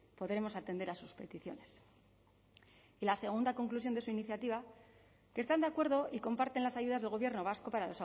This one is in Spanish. podremos atender a sus peticiones y la segunda conclusión de su iniciativa que están de acuerdo y comparten las ayudas del gobierno vasco para